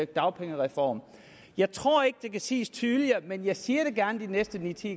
dagpengereform jeg tror ikke det kan siges tydeligere men jeg siger det gerne de næste ni til